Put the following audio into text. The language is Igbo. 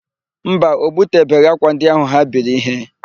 Mba, o butebeghị ákwà ndị áhụ̀ ha biri íhé.